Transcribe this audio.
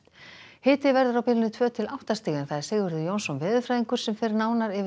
hiti verður á bilinu tvö til átta stig Sigurður Jónsson veðurfræðingur fer nánar yfir